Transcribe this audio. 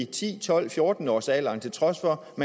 ti tolv fjorten årsalderen til trods for at